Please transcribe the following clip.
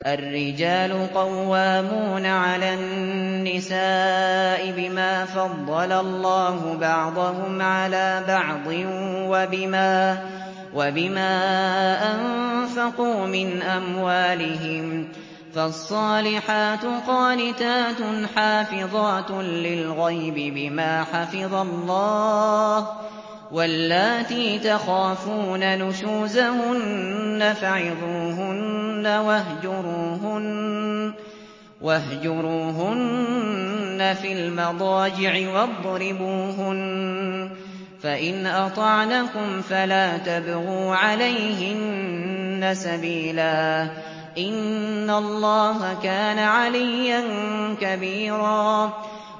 الرِّجَالُ قَوَّامُونَ عَلَى النِّسَاءِ بِمَا فَضَّلَ اللَّهُ بَعْضَهُمْ عَلَىٰ بَعْضٍ وَبِمَا أَنفَقُوا مِنْ أَمْوَالِهِمْ ۚ فَالصَّالِحَاتُ قَانِتَاتٌ حَافِظَاتٌ لِّلْغَيْبِ بِمَا حَفِظَ اللَّهُ ۚ وَاللَّاتِي تَخَافُونَ نُشُوزَهُنَّ فَعِظُوهُنَّ وَاهْجُرُوهُنَّ فِي الْمَضَاجِعِ وَاضْرِبُوهُنَّ ۖ فَإِنْ أَطَعْنَكُمْ فَلَا تَبْغُوا عَلَيْهِنَّ سَبِيلًا ۗ إِنَّ اللَّهَ كَانَ عَلِيًّا كَبِيرًا